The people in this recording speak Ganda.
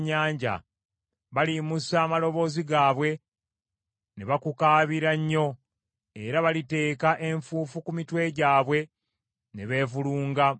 Baliyimusa amaloboozi gaabwe ne bakukaabira nnyo; era baliteeka enfuufu ku mitwe gyabwe ne beevulunga mu vvu.